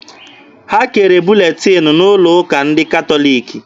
Ha kere buletin n'ụlọ ụka ndị katọliki.